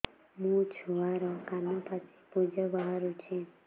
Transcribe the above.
ମୋ ଛୁଆର କାନ ପାଚି ପୁଜ ବାହାରୁଛି